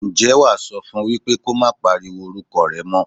Ǹjẹ́ wá á sọ fún wípé kó má pariwo orúkọ rẹ mọ́.